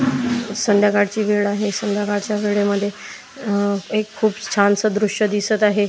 संध्याकाळची वेळ आहे संध्याकाळच्या वेळेमध्ये अ एक खूप छानस दृश्य दिसत आहे.